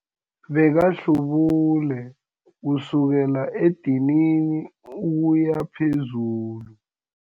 Bekahlubule kusukela edinini ukuya phezulu.